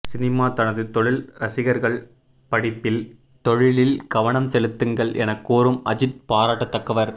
cinema தனது தொழில் ரசிகர்கள் படிப்பில் தொழிலில் கவனம் செலுத்துங்கள் என கூறும் அஜித் பாராட்ட தக்கவர்